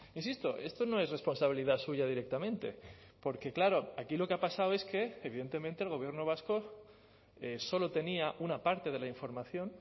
insisto esto no es responsabilidad suya directamente porque claro aquí lo que ha pasado es que evidentemente el gobierno vasco solo tenía una parte de la información